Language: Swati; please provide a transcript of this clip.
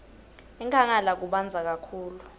enkhangala kubandza kakhulu